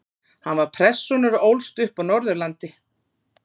Hann var prestssonur og ólst upp á Norðurlandi.